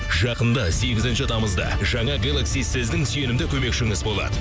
жақында сегізінші тамызда жаңа гелакси сіздің сүйенімді көмекшіңіз болады